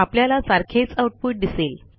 आपल्याला सारखेच आउटपुट दिसेल